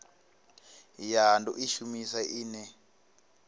ya do i shumisa ine